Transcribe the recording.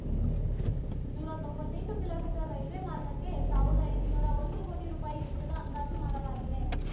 ನೂರ ತೊಂಬತ್ತೆಂಟು kilometre railway ಮಾರ್ಗಕ್ಕೆ ಸಾವಿರದ ಎಂಟುನೂರ ಒಂದು ಕೋಟಿ ರೂಪಾಯಿ ವೆಚ್ಚದ ಅಂದಾಜು ಮಾಡಲಾಗಿದೆ